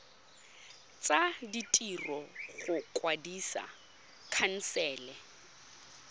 tsa ditiro go kwadisa khansele